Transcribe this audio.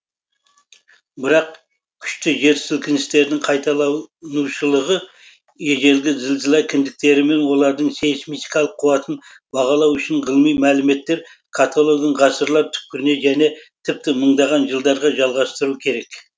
бірақ күшті жер сілкіністерінің қайталанушылығы ежелгі зілзала кіндіктері мен олардың сейсмикалық қуатын бағалау үшін ғылыми мәліметтер каталогын ғасырлар түпкіріне және тіпті мыңдаған жылдарға жалғастыру керек